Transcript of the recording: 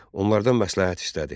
Onlardan məsləhət istədi.